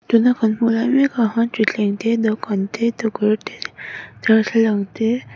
tuna kan hmuh lai mekah khan thutthleng te dawhkan te tukverh te darthlalang tee--